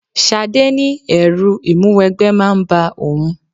Ṣadé ní ẹrù ìmúwẹgbẹ́ máa ń bá òun.